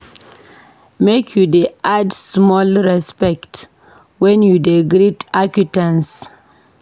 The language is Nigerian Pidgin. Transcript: Make you dey add small respect wen you dey greet acquaintance.